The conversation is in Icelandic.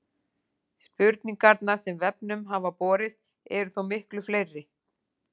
Spurningarnar sem vefnum hafa borist eru þó miklu fleiri.